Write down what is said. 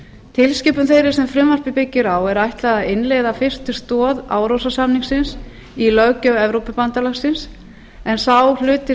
tilskipun þeirri sem frumvarpið byggir á er ætlað að innleiða fyrstu stoð árósasamningsins í löggjöf evrópubandalagsins en sá hluti